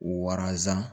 Waransan